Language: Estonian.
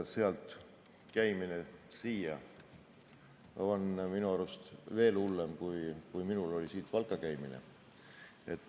Sealt siia käimine on minu arust veel hullem, kui oli minul siit Valka käimine.